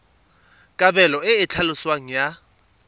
kabelo e e tlhaloswang ya